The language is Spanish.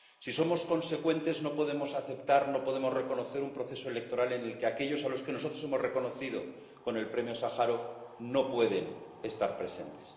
Si somos consecuentes, no podemos aceptar, no podemos reconocer un proceso electoral en el que aquellos a los que nosotros hemos reconocido con el Premio Sájarov no pueden estar presentes.